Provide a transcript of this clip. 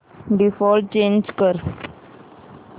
default change कर